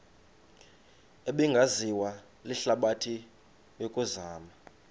ebingaziwa lihlabathi yokuzama